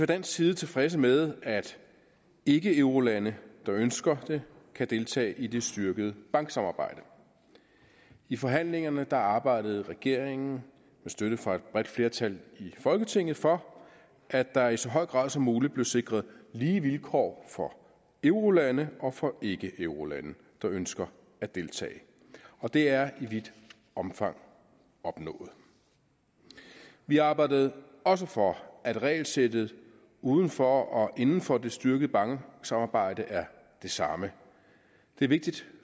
dansk side tilfredse med at ikkeeurolande der ønsker det kan deltage i det styrkede banksamarbejde i forhandlingerne arbejdede regeringen med støtte fra et bredt flertal i folketinget for at der i så høj grad som muligt blev sikret lige vilkår for eurolande og for ikkeeurolande der ønsker at deltage og det er i vidt omfang opnået vi arbejdede også for at regelsættet uden for og inden for det styrkede banksamarbejde er det samme det er vigtigt